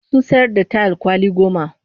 Sun sayar da tayil kwali goma